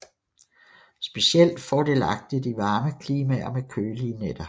Specielt fordelagtigt i varme klimaer med kølige nætter